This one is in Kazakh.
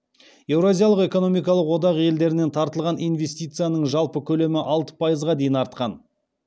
еуразиялық экономикалық одақ елдерінен тартылған инвестицияның жалпы көлемі алты пайызға дейін артқан